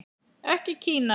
Ekki Kína.